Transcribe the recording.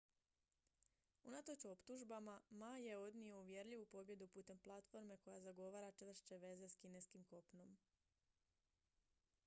unatoč optužbama ma je odnio uvjerljivu pobjedu putem platforme koja zagovara čvršće veze s kineskim kopnom